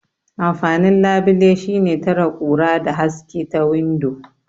Amfanin labile shine tare kura da haske ta windo.